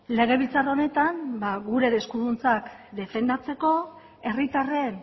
legebiltzar honetan ba gure eskuduntzak defendatzeko herritarren